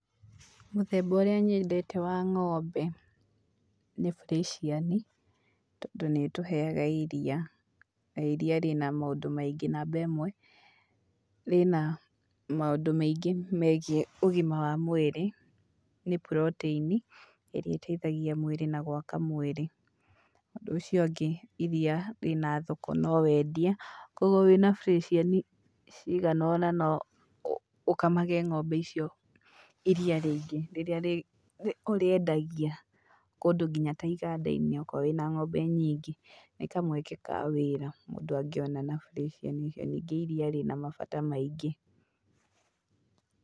Mũthemba ũrĩa nyendete wa ng'ombe nĩ burĩciani, tondũ nĩ ĩtuheaga iria, na iria rĩna maũndũ maingĩ. Namba ĩmwe, rĩna maũndũ maingĩ megiĩ ũgima wa mwĩrĩ, nĩ protein ĩrĩa ĩteithagia mwĩrĩ na gwaka mwĩrĩ. Ũndũ ũcio ũngĩ, iria rĩna thoko no wendie, kuũguo wĩna burĩciani cigana ona no ũkamage ng'ombe icio iria rĩingĩ rĩrĩa rĩ ũrĩendagia, kũndũ nginya ta iganda-inĩ okorwo wĩna ng'ombe nyingĩ. Nĩ kamweke ka wĩra mũndũ angĩona na bũrĩciani, na ningĩ iria rĩna mabata maingĩ.